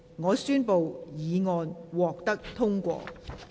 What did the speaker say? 我宣布議案獲得通過。